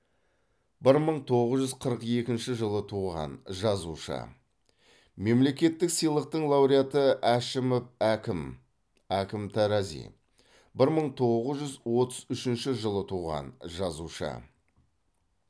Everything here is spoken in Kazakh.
бір мың тоғыз жүз қырық екінші жылы туған жазушы мемлекеттік сыйлықтың лауреаты әшімов әкім әкім тарази бір мың тоғыз жүз отыз үшінші жылы туған жазушы